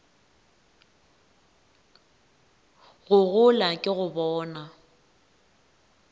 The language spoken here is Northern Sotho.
go gola ke go bona